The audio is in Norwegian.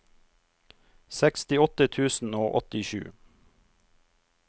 sekstiåtte tusen og åttisju